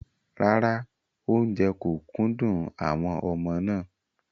Rárá, oúnjẹ kò kúndùn àwọn ọmọ náà.